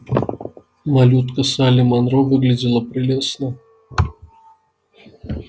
малютка салли манро выглядела прелестно